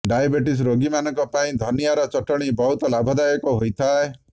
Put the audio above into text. diabetes ରୋଗୀମାନଙ୍କ ପାଇଁ ଧନିଆର ଚଟଣୀ ବହୁତ ଲାଭଦାୟକ ହୋଇଥାଏ